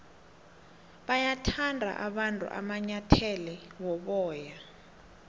bayawathanda abantu amanyathele woboya